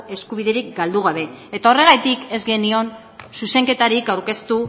eskubiderik galdu gabe eta horregatik ez genion zuzenketarik aurkeztu